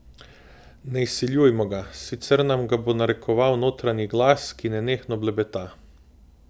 Ne izsiljujmo ga, sicer nam ga bo narekoval notranji glas, ki nenehno blebeta.